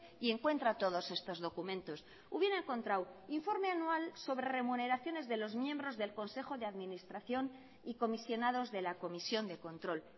y encuentra todos estos documentos hubiera encontrado informe anual sobre remuneraciones de los miembros del consejo de administración y comisionados de la comisión de control